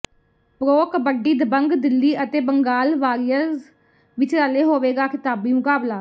pro kabaddi Dabang Delhi ਅਤੇ Bengal warriors ਵਿਚਾਲੇ ਹੋਵੇਗਾ ਖਿਤਾਬੀ ਮੁਕਾਬਲਾ